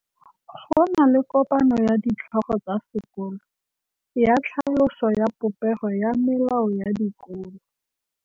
Go na le kopanô ya ditlhogo tsa dikolo ya tlhaloso ya popêgô ya melao ya dikolo.